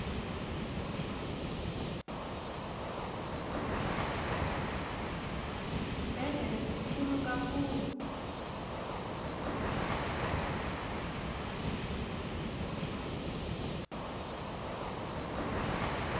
isibhedlele sikhulu kakhulu